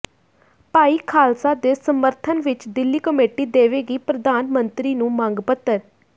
ਭਾਈ ਖਾਲਸਾ ਦੇ ਸਮਰਥਨ ਵਿੱਚ ਦਿੱਲੀ ਕਮੇਟੀ ਦੇਵੇਗੀ ਪ੍ਰਧਾਨ ਮੰਤਰੀ ਨੂੰ ਮੰਗ ਪੱਤਰ